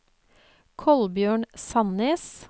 Kolbjørn Sannes